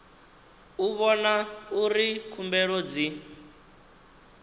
u vhona uri khumbelo dzi